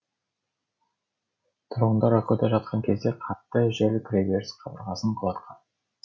тұрғындар ұйқыда жатқан кезде қатты жел кіреберіс қабырғасын құлатқан